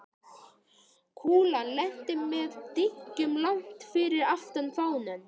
Kúlan lenti með dynkjum langt fyrir aftan fánann.